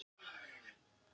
Sveik mig alveg rosalega.